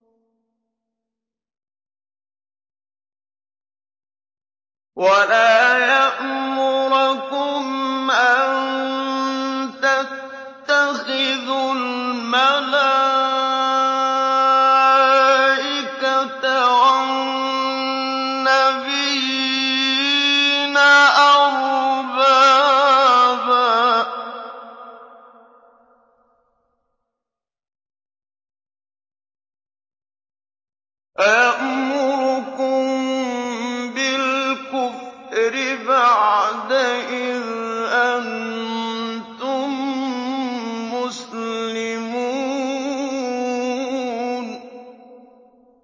وَلَا يَأْمُرَكُمْ أَن تَتَّخِذُوا الْمَلَائِكَةَ وَالنَّبِيِّينَ أَرْبَابًا ۗ أَيَأْمُرُكُم بِالْكُفْرِ بَعْدَ إِذْ أَنتُم مُّسْلِمُونَ